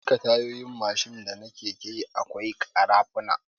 A duka Tayoyin Mashin da na keke akwai kara funa